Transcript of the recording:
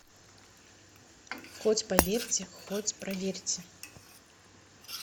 хоть поверьте хоть проверьте